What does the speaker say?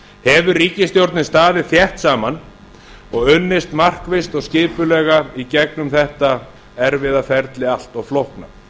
hefur ríkisstjórnin staðið þétt saman og unnið markvisst og skipulega í gegnum eitt erfiða ferli allt og flókna